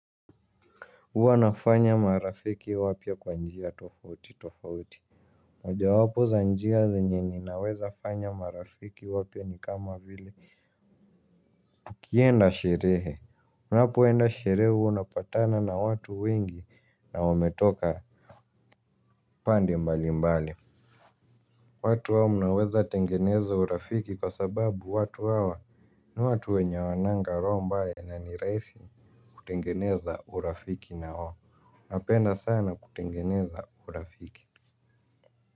Huwa nafanya marafiki wapya kwa njia tofauti tofauti, moja wapo za njia zenye ninaweza fanya marafiki wapya ni kama vile ukienda sherehe, unapoenda sherehe huwa unapatana na watu wengi na wametoka pande mbali mbali watu hao mnaweza tengeneza urafiki kwa sababu watu hawa ni watu wenye hawananga roho mbaya na ni rahisi kutengeneza urafiki na wao, napenda sana kutengeneza urafiki.